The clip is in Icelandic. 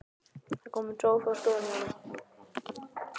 Það er kominn sófi á stofuna hjá honum.